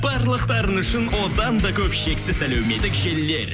барлықтарыңыз үшін одан да көп шексіз әлеуметтік желілер